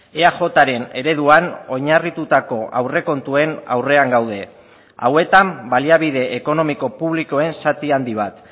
eajren ereduan oinarritutako aurrekontuen aurrean gaude hauetan baliabide ekonomiko publikoen zati handi bat